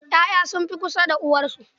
Ya'ya sun fi kusa da uwarsu.